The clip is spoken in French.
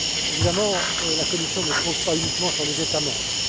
Évidemment, la Commission ne compte pas uniquement sur les États membres.